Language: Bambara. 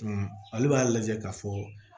ale b'a lajɛ k'a fɔ